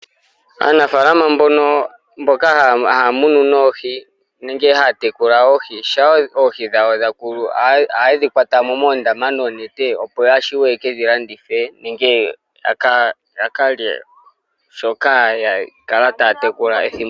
Aanafaalama mbono, mboka haya munu noohi nenge haya tekula oohi, shampa oohi dhawo dha koko ohaye dhi kwata mo moondama noonete, opo ya vule yeke dhi landithe nenge ya ka lye shoka ya kala taya tekula ethimbo.